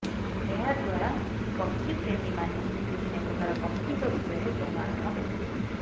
ଏହାଦ୍ବାରା ପକ୍ଷୀପ୍ରେମୀମାନେ ବିଭିନ୍ନ ପ୍ରକାର ପକ୍ଷୀଙ୍କ ବିଷୟରେ ଜ୍ଞାନ ଆହରଣ କରିପାରିବେ